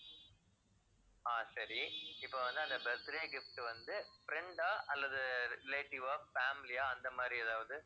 ஆஹ் சரி. இப்ப வந்து அந்த birthday gift வந்து friend ஆ அல்லது relative ஆ, family ஆ அந்த மாதிரி ஏதாவது?